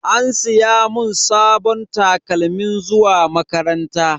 An siya mun sabon takalmin zuwa makaranta.